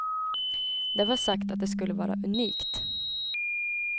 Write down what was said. Det var sagt att det skulle vara unikt.